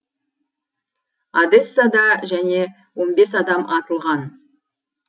одессада және он бес адам атылған